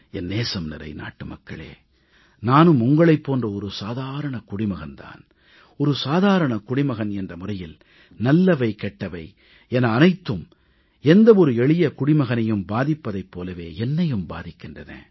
என் நேசம்நிறை நாட்டுமக்களே நானும் உங்களைப் போன்ற சாதாரண குடிமகன் தான் சாதாரண குடிமகன் என்ற முறையில் நல்லவை கெட்டவை என அனைத்தும் எந்த எளிய குடிமகனையும் பாதிப்பதைப் போலவே என்னையும் பாதிக்கின்றன